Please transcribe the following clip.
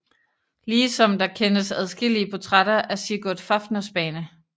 Ligesom der kendes adskillige portrætter af Sigurd Fafnersbane